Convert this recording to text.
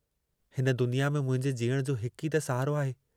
हिन दुनिया में मुंहिंजे जीअण जो हिकु ई त सहारो आहे।